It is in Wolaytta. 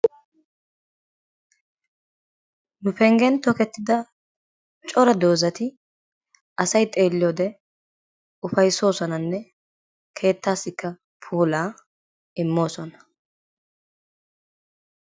Nu penggen tokketida cora doozati asay xeeliyoode ufayssoosonanne keettassikka puulaa immoosona.